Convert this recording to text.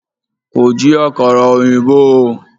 Kò jí àkàrà ọ̀yìnbó o.